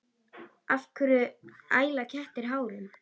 Af hverju æla kettir hárum?